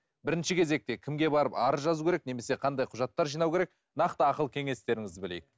бірінші кезекте кімге барып арыз жазу керек немесе қандай құжаттар жинау керек нақты ақыл кеңестеріңізді білейік